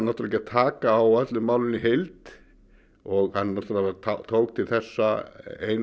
ekki að taka á öllu málinu í heild hann tók til þessa eina